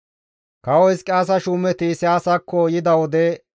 Kawo Hizqiyaasa shuumeti Isayaasakko yida wode,